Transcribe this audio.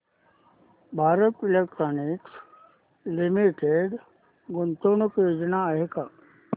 Bharat electronics limited गुंतवणूक योजना दाखव